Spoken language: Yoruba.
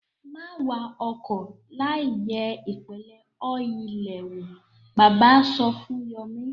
Má wa ọkọ̀ láìyẹ̀ ìpele ọ́ìlì rẹ̀ wò! Bàbá sọ fún Yọ̀mí.